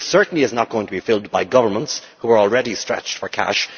It certainly is not going to be filled by governments, who are already stretched for cash.